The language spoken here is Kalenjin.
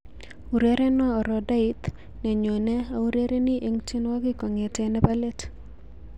Urerenwo orodhait nenyune aurereni eng tienwoki kogete nebo let